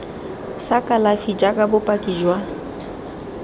sa kalafi jaaka bopaki jwa